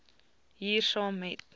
hier saam met